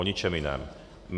O ničem jiném.